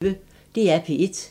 DR P1